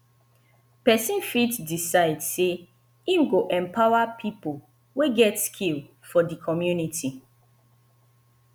persin fit decide say im go empower pipo wey get skill for di community